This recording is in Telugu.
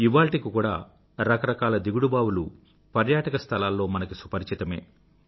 ఇవాళ్టికి కూడా రకరకాల దిగుడుబావి లుstepwells పర్యాటక స్థలాల్లో మనకు పరిచితమే